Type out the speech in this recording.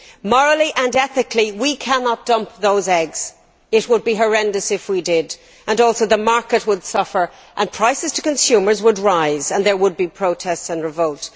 Morally and ethically, we cannot dump those eggs. It would be horrendous if we did, and also the market would suffer and prices to consumers would rise, and there would be protests and revolt.